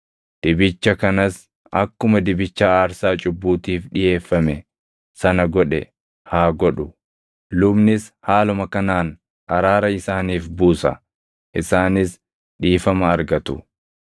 dibicha kanas akkuma dibicha aarsaa cubbuutiif dhiʼeeffame sana godhe haa godhu; lubnis haaluma kanaan araara isaaniif buusa; isaanis dhiifama argatu.